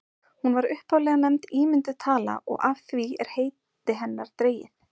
hún var upphaflega nefnd ímynduð tala og af því er heiti hennar dregið